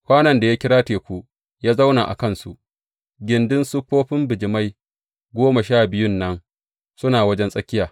Kwanon da ya kira Teku ya zauna a kansu, gindin siffofin bijimai goma sha biyun nan suna wajen tsakiya.